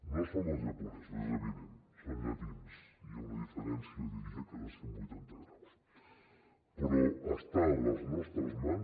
no som els japonesos és evident som llatins hi ha una diferència jo diria que de cent vuitanta graus però està a les nostres mans